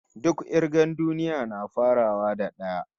Duk kirgar duniya na farawa daga d'aya